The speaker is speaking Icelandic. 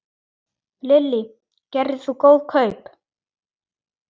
Lillý: Gerðir þú góð kaup?